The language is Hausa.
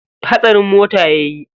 Hatsarin mota yayi.